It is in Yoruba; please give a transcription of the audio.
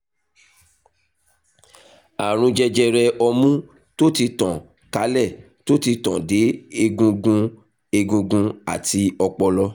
àrùn jẹjẹrẹ ọmú tó ti tàn kálẹ̀ tó ti tàn dé egungun egungun àti ọpọlọ